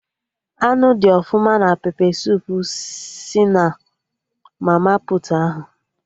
Anụ dị ọfụma na pepe suup si na mama puutu ahụ